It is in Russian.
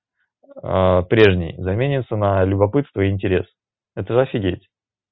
прежний заменится на любопытство и интерес это офигеть